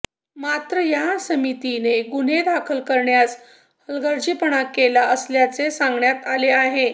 मात्र या समितीने गुन्हे दाखल करण्यास हालगर्जीपणा केला असल्याचे सांगण्यात आले आहे